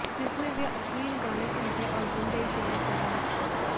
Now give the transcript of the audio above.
जिसमे वे अश्लील गाने सुनते और गंदे इशारे कर रहे थे